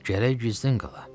Gərək gizlin qala.